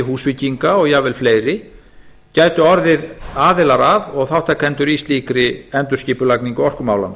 húsvíkinga og jafnvel fleiri gætu orðið aðilar að og þátttakendur í slíkri endurskipulagningu orkumála